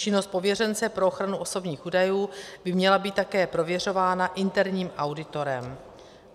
Činnost pověřence pro ochranu osobních údajů by měla být také prověřována interním auditorem.